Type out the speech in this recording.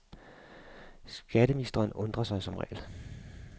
Skatteministeren undrer sig som regel.